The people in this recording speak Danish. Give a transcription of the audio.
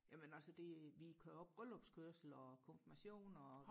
jamen altså det vi kører også bryllupskørsel og konfirmationer